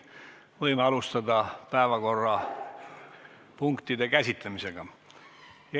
Võime alustada päevakorrapunktide käsitlemist.